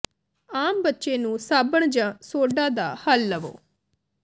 ਆਮ ਬੱਚੇ ਨੂੰ ਸਾਬਣ ਜ ਸੋਡਾ ਦਾ ਹੱਲ ਲਵੋ